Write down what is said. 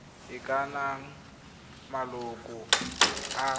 e ka nnang maloko a